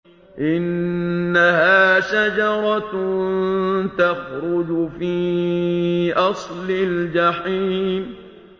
إِنَّهَا شَجَرَةٌ تَخْرُجُ فِي أَصْلِ الْجَحِيمِ